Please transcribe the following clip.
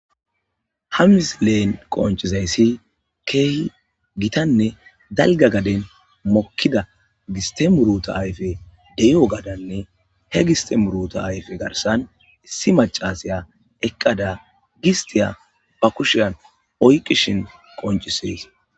ha misilen qoncizayssi keehi gitanne dalga gaden mokkida gistemuruta ayfe deyo gadanne he gistemuruta ayfe garsan issi macasiya eqqada gistiya ba kushiyan oykishin qonciseys